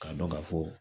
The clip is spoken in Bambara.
K'a dɔn ka fɔ